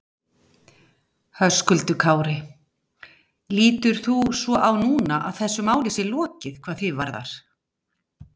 Höskuldur Kári: Lítur þú svo á núna að þessu máli sé lokið hvað þig varðar?